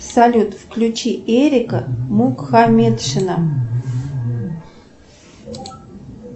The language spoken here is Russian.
салют включи эрика мухаметшина